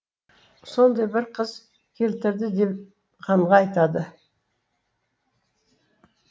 сондай бір қыз келтірді деп ханға айтады